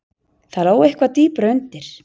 Það lá eitthvað dýpra undir.